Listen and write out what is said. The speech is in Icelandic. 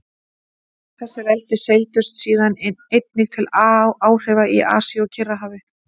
Þessi veldi seildust síðan einnig til áhrifa í Asíu og Kyrrahafi.